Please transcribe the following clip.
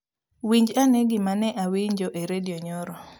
Winj ane gima ne awinjo e redio nyoro